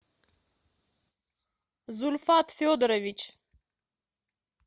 зульфат федорович